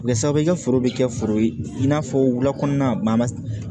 Kɛ sabu i ka foro be kɛ foro ye i n'a fɔ wulakɔnɔna